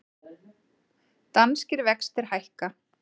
Danskir vextir hækka